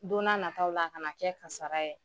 Don n’a nataw la a kana kɛ kasara ye.